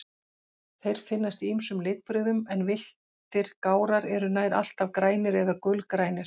Þeir finnast í ýmsum litbrigðum, en villtir gárar eru nær alltaf grænir eða gulgrænir.